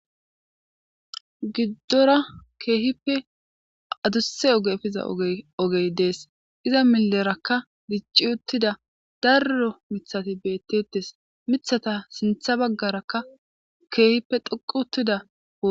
giddora keehippe adusse ogefiza ogey dees iza milerakka dicci uttida darro mithati beettetes mithata sintha baggarakka keehippe dhoqu uttida